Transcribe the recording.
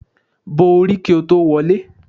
Bo orí kò tó wọlé.